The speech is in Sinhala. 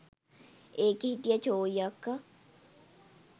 එකේ හිටිය චෝයි අක්කා